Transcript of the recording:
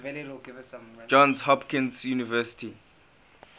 johns hopkins university